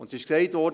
Es wurde gesagt: